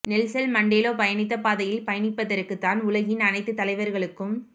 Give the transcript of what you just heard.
Nelson Mandela பயணித்த பாதையில் பயணிப்பதற்கு தான் உலகின் அனைத்து தலைவர்களுக்கும்